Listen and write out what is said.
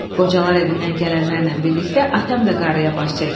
Qocalar evindən gələnlərlə birlikdə atam da qarıya baş çəkdi.